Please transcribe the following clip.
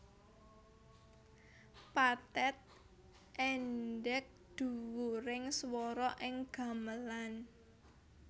Pathet endhek dhuwuring swara ing gamelan